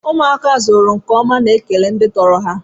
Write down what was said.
Ụmụaka azụrụ nkeọma na-ekele ndị tọrọ ha.